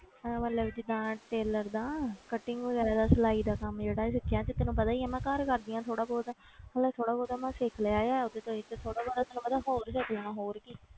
ਇਹ ਮਤਲਬ ਜਿੱਦਾਂ tailor ਦਾ cutting ਵਗ਼ੈਰਾ ਦਾ ਸਿਲਾਈ ਦਾ ਕੰਮ ਜਿਹੜਾ ਸਿੱਖਿਆ ਤੇ ਤੈਨੂੰ ਪਤਾ ਹੀ ਹੈ ਮੈਂ ਘਰ ਕਰਦੀ ਹਾਂ ਥੋੜ੍ਹਾ ਬਹੁਤ ਮਤਲਬ ਥੋੜ੍ਹਾ ਬਹੁਤ ਮੈਂ ਸਿੱਖ ਲਿਆ ਹੈ ਤੇ ਚਲੋ ਜੀ ਥੋੜ੍ਹਾ ਬਹੁਤਾ ਤੈਨੂੰ ਪਤਾ ਹੋਰ ਸਿੱਖ ਲੈਣਾ ਹੋਰ ਕੀ।